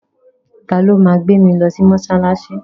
Ta ló ma gbé mi lọ mọ́ṣáláṣí?